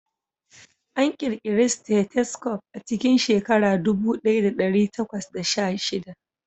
An ƙirƙira stethoscope a cikin shekara ɗubu ɗaya da ɗari takwas da sha shida